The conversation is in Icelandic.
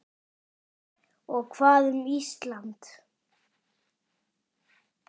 Og hvað um Ísland?